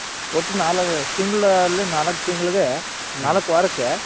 ಒಟ್ಟು ತಿಂಗಳಲ್ಲಿ ನಾಲ್ಕ್ ತಿಂಗಳ್ಗೆ ನಾಲ್ಕ್ ವಾರಕ್ಕೆ.